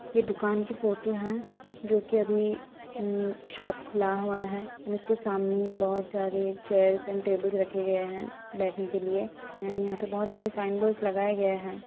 ये दुकान की फोटो हैं जो कि अभी उम्म शॉप खुला हुआ है और उसके सामने बहुत सारे चेयर्स एंड टेबल्स रखे गए हैं बैठने के लिए। एंड यहां पे बहुत सारे साइन बोर्डस लगाए गए हैं।